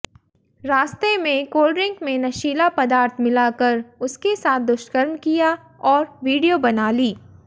रास्ते में कोल्डड्रिंक में नशीला पदार्थ पिलाकर उसके साथ दुष्कर्म किया और वीडियो बना ली